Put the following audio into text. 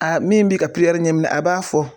min bɛ ka ɲɛminɛ a b'a fɔ.